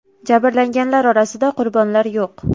Jabrlanganlar orasida qurbonlar yo‘q.